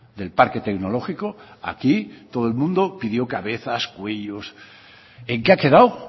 del parque tecnológico aquí todo el mundo pidió cabezas cuellos en qué ha quedado